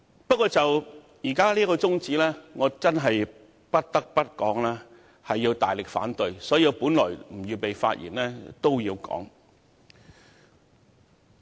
不過，就當前這項中止待續議案，我不得不發言大力反對，儘管我本來沒有預備發言，現在也要說說。